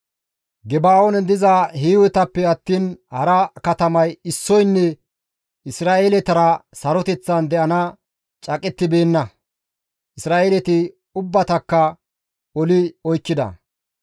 Geba7oonen diza Hiiwetappe attiin hara katamay issoynne Isra7eeletara saroteththan de7ana caaqettibeenna; Isra7eeleti ubbatakka oli oykkida.